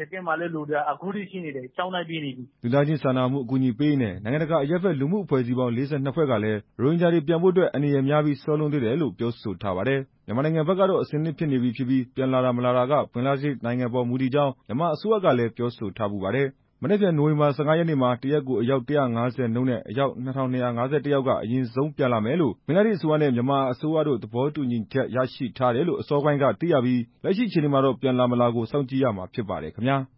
စခန်းမှာလည်း လူတွေက အခုထိရှိနေတယ်" လူသားချင်းစာနာမှု အကူအညီပေးရေးနဲ့ နိုင်ငံတကာ အရပ်ဘက် လူမှုအဖွဲ့အစည်းပေါင်း ၄၂ ဖွဲ့ ကလည်း ရိုဟင်ဂျာတွေပြန်ဖို့အတွက် အန္တရာယ်များပြီး စောလွန်းသေးတယ်ဆိုပြီး ပြောဆိုထားပါတယ်။ မြန်မာနိုင်ငံဘက်ကတော့ အဆင်သင့်ဖြစ်နေပြီဖြစ်ပြီး ပြန်လာမလာက ဘင်္ဂလားဒေ့ရှ်နိုင်ငံအပေါ် မူတည်ကြောင်း မြန်မာအစိုးရကလည်း ပြောဆိုထားဖူးပါတယ်။ မနက်ဖြန် နိုဝင်ဘာ ၁၅ ရက်နေ့မှာ တစ်ရက်ကို အယောက် ၁၅၀ နှုန်းနဲ့ အယောက် ၂၂၅၁ ယောက်က အရင်ဆုံးပြန်လာမယ်လို့ ဘင်္ဂလားဒေ့ရှ်အစိုးရနဲ့ မြန်မာအစိုးရတို့ သဘောတူညီချက် ရရှိထားတယ်လို့ အစောပိုင်းကသိရပြီး လက်ရှိအခြေနေမှာတော့ ပြန်လာမလာကို စောင့်ကြည့်ရမှာ ဖြစ်ပါတယ်ခင်ဗျာ